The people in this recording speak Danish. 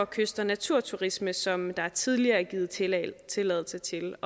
kyst og naturturisme som der tidligere er givet tilladelse tilladelse til